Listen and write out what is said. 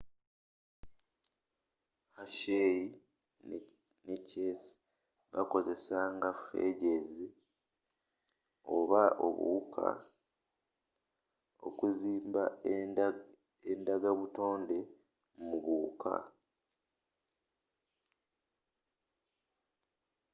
hershey and chase bakozesanga phages oba buwuka okuzimba endanga buttonde mu buwuka